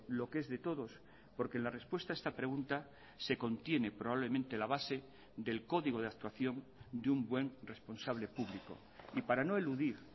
lo que es de todos porque la respuesta a esta pregunta se contiene probablemente la base del código de actuación de un buen responsable público y para no eludir